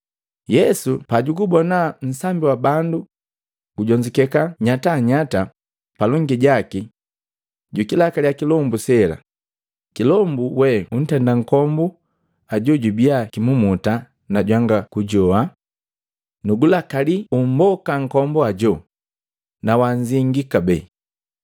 Yesu pajugubona nsambi wa bandu gujonzukeka nyatanyata palongi jaki, jukilakaliya kilombu sela, “Kilombu we huntenda nkombu ajoo jubiya kimumuta na jwanga kujoa, nugulagalaki umboka nkombu hajo na wanzingii kabee!”